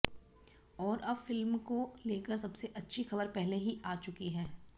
और अब फिल्म को लेकर सबसे अच्छी खबर पहले ही आ चुकी है